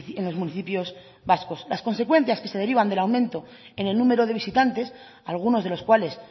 en los municipios vascos las consecuencias que se derivan del aumento en el número de visitantes algunos de los cuales